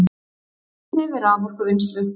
Nýtni við raforkuvinnslu